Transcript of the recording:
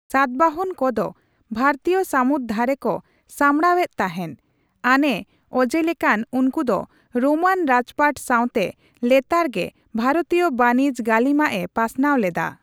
ᱥᱟᱛᱵᱟᱦᱚᱱ ᱠᱚ ᱫᱚ ᱵᱷᱟᱨᱛᱤᱭ ᱥᱟᱢᱩᱫ ᱫᱷᱟᱨᱮ ᱠᱚ ᱥᱟᱢᱲᱟᱣ ᱮᱫ ᱛᱟᱦᱮᱱ ᱾ ᱟᱱᱮ ᱚᱡᱮ ᱞᱮᱠᱟᱛ, ᱩᱱᱠᱩ ᱫᱚ ᱨᱳᱢᱟᱱ ᱨᱟᱡᱯᱟᱴ ᱥᱟᱣᱛᱮ ᱞᱮᱛᱟᱲ ᱜᱮ ᱵᱷᱟᱨᱚᱛᱤᱭ ᱵᱟᱱᱤᱡᱚ ᱜᱟᱹᱞᱤᱢᱟᱜ ᱮ ᱯᱟᱥᱱᱟᱣ ᱞᱮᱫᱟ ᱾